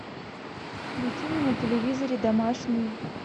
включи мне на телевизоре домашний